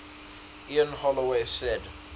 ian holloway said